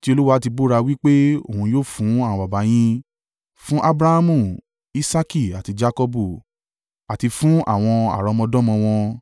tí Olúwa ti búra wí pé òun yóò fún àwọn baba yín: fún Abrahamu, Isaaki, àti Jakọbu, àti fún àwọn àrọ́mọdọ́mọ wọn.”